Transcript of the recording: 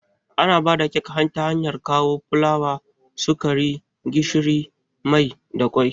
Ana haɗa kek ta hanyar kawo fulawa, sukari, gishiri, mai da kwai